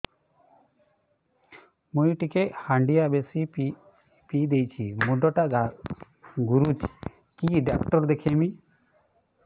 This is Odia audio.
ମୁଇ ଟିକେ ହାଣ୍ଡିଆ ବେଶି ପିଇ ଦେଇଛି ମୁଣ୍ଡ ଟା ଘୁରୁଚି କି ଡାକ୍ତର ଦେଖେଇମି